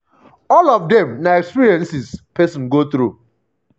all of dem na experiences pesin go through.